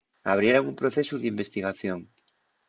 abrieran un procesu d'investigación